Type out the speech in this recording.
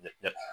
Ee